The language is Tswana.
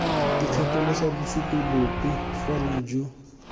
ikgatholosa bosupi bope fela jo